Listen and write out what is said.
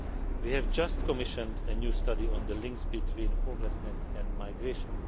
We have just commissioned a new study on the links between homelessness and migration.